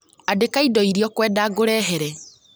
Andĩka indo iria ũkwenda ngũrehere